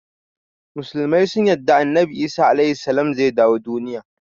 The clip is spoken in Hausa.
Musulmai sun yarda annabi Isa (AS) zai dawo duniya.